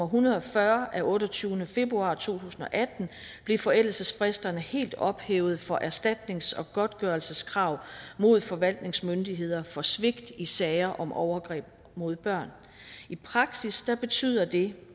hundrede og fyrre af otteogtyvende februar to tusind og atten blev forældelsesfristerne helt ophævet for erstatnings og godtgørelseskrav mod forvaltningsmyndigheder for svigt i sager om overgreb mod børn i praksis betyder det